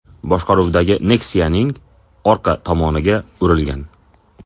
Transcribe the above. boshqaruvidagi Nexia’ning orqa tomoniga urilgan.